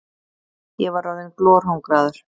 Ég var orðinn glorhungraður.